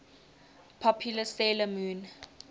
popular 'sailor moon